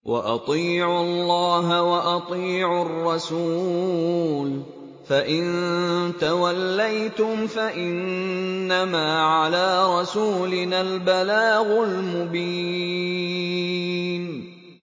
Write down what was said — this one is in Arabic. وَأَطِيعُوا اللَّهَ وَأَطِيعُوا الرَّسُولَ ۚ فَإِن تَوَلَّيْتُمْ فَإِنَّمَا عَلَىٰ رَسُولِنَا الْبَلَاغُ الْمُبِينُ